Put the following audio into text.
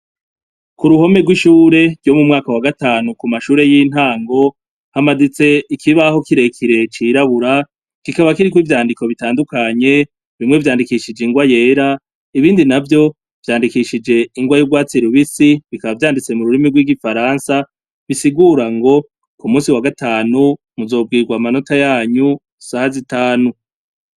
Kuruhome rwishure ryo mu mwaka wa gatanu ku mashure y' intango hamanits' ikibaho kirekire cirabura, kikaba kirik' ivyandiko bitandukanye, bimwe vyandikishij' ingwa yera, ibindi navyo vyandikishij' ingwa y'urwatsi rubisi, bikaba vyanditse mu rurimi rw' igifaransa bisigura ngo k' umunsi wa gatanu muzobwigw' amanota yany' isaha zitanu.